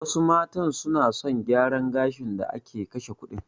Wasu matan suna son gyaran gashin da ake kashe kuɗin.